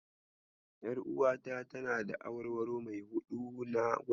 Ƴaruwata tana da awarwaro mai huɗu na gwal.